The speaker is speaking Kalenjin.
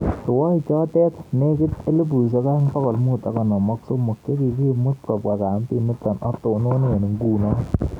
Rwaichoto nekitei 2553 chekikimut kopwa kambit nitok atonone ngunoo